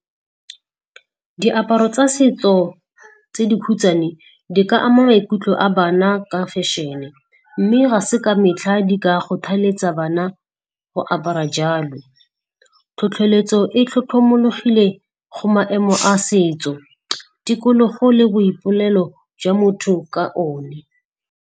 Diaparo tsa setso tse dikhutswane di ka ama maikutlo a bana ka fashion-e, mme ga se ka metlha di ka kgothaletsa bana go apara jalo. Tlhotlheletso e tlhotlhomologile go maemo a setso, tikologo le boipolelo jwa motho ka one.